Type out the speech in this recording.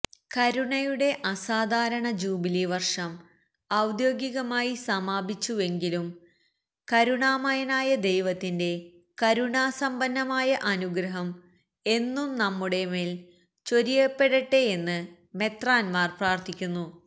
കരുണയുടെ അസാധാരണ ജൂബിലി വര്ഷം ഔദ്യോഗികമായി സമാപിച്ചുവെങ്കിലും കരുണാമയനായ ദൈവത്തിന്റെ കരുണാസമ്പന്നമായ അനുഗ്രഹം എന്നും നമ്മുടെമേല് ചൊരിയപ്പെടട്ടെയെന്ന് മെത്രാന്മാര് പ്രാര്ത്ഥിക്കുന്നു